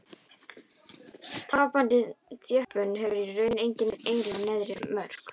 Tapandi þjöppun hefur í raun engin eiginleg neðri mörk.